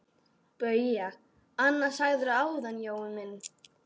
BAUJA: Annað sagðirðu áðan, Jói minn.